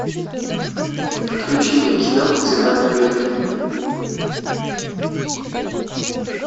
включи мне кино цена победы